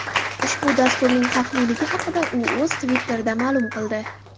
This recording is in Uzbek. Ushbu dasturning xavfliligi haqida u o‘z Twitter’ida ma’lum qildi .